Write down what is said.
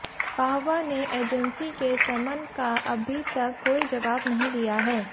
पाहवा ने एजेंसी के समन का अभी तक कोई जवाब नहीं दिया है